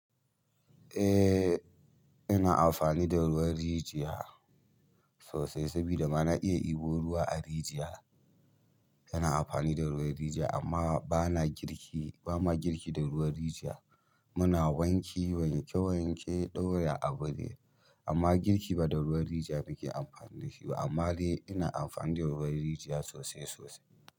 Eh, ina amfani da ruwan rijiya sosai sabida ma na iya ibu ruwa a rijiya. Ina amfani da ruwan rijiya amma ba na girki, ba ma girki da ruwan rijiya. Muna wanki, wanke wanke ɗaura abu ne amma girki ba da ruwan rijiya muke amfani da shi ba. Amma dai ina amfani da ruwan rijiya sosai sosai.